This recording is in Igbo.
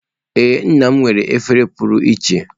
Ee nna m nwere efere pụrụ iche.